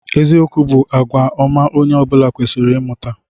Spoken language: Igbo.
Eziokwu bụ àgwà ọma onye ọ bụla kwesịrị ịmụta.